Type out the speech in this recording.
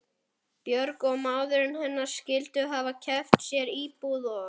Björg og maðurinn hennar skyldu hafa keypt sér íbúð og